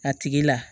A tigi la